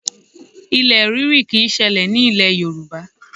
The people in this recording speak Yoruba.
Ilẹ̀ ríri kì í ṣẹlẹ̀ nílẹ̀ Yorùbá